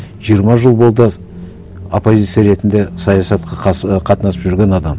жиырма жыл болды оппозиция ретінде саясатқа і қатынасып жүрген адам